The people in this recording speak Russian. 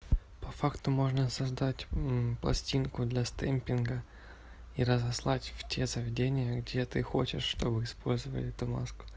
по факту можно создать пластинку для стемпинга и разослать в те заведениях где ты хочешь чтобы использовали эту маску